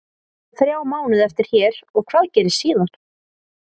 Ég á þrjá mánuði eftir hér og hvað gerist síðan?